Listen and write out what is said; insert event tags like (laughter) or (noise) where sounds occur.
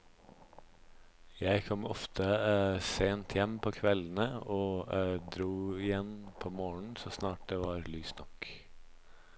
Jeg kom ofte (hesitation) sent hjem på kveldene og (hesitation) dro igjen på morgenen så snart det var lyst nok.